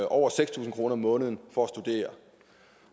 over seks tusind kroner om måneden for at studere